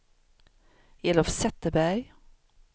Elof Zetterberg